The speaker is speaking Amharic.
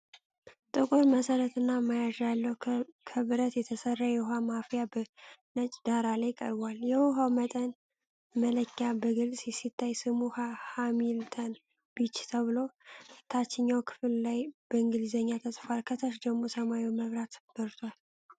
ጥቁር መሠረትና መያዣ ያለው ከብረት የተሰራ የውሃ ማፍያ በነጭ ዳራ ላይ ቀርቧል። የውሃው መጠን መለኪያ በግልጽ ሲታይ፣ ስሙ "ሃሚልተን_ቢች" ተብሎ ታችኛው ክፍል ላይ በእንግሊዝኛ ተጽፏል። ከታች ደግሞ ሰማያዊ መብራት በርቷል።